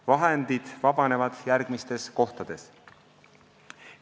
Vahendid vabanevad järgmistes kohtades.